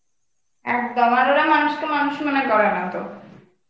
একদম. আর ওরা মানুষকে মানুষ মনে করে না তো.